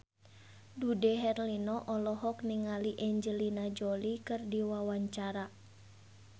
Dude Herlino olohok ningali Angelina Jolie keur diwawancara